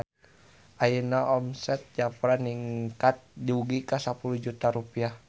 Ayeuna omset Jafra ningkat dugi ka 10 juta rupiah